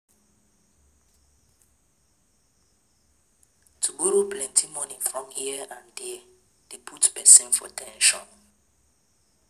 To borrow plenty money for here and there de put persin for ten sion